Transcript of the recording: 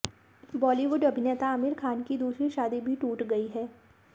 बॉलीवुड अभिनेता आमिर खान की दूसरी शादी भी टूट गई है